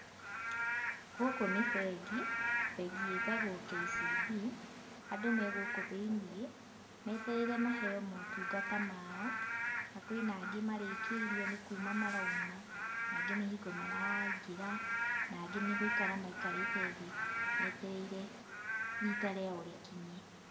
Gũkũ nĩ bengi, bengi ĩtagwo KCB, andũ me gũkũ thĩiniĩ, metereire maheo motungata mao, na kwĩna angĩ marĩkĩirio nĩ kuuma marauma, na angĩ nĩ hingo maraingĩra na angĩ nĩ gũikara maikarĩte metereire riita rĩao rĩkinye.